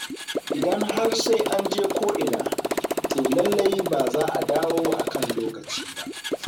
Idan har sai an je ko'ina to lallai ba za a dawo a kan lokaci ba.